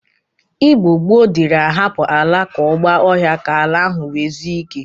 Igbo gboo diri ahapụ ala ka ọ gba ọhịa ka ala ahụ nwe zue ike.